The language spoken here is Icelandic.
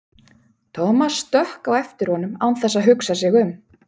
Thomas stökk á eftir honum án þess að hugsa sig um.